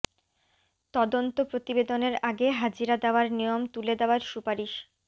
তদন্ত প্রতিবেদনের আগে হাজিরা দেওয়ার নিয়ম তুলে দেওয়ার সুপারিশ